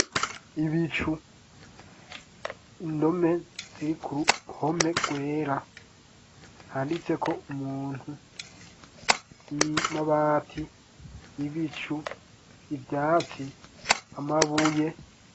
Ibicu, indome ziri kuruhome rwera handitseko umuntu amabati, ibicu, ivyatsi, amabuye.